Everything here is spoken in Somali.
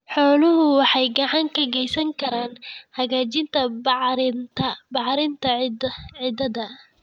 Xooluhu waxay gacan ka geysan karaan hagaajinta bacrinta ciidda.